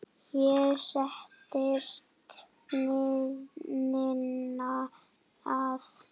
Hér settist Ninna að.